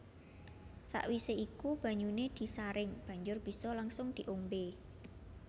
Sakwise iku banyuné disaring banjur bisa langsung diombé